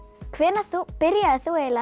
hvenær byrjaðir þú eiginlega